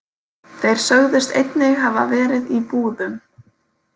Þeir sögðust einnig hafa verið í búðum.